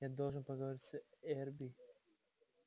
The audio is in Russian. я должен поговорить с эрби